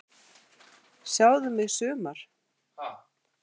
Sjáðu mig sumar!